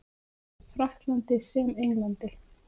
Frakklandi sem Englandi.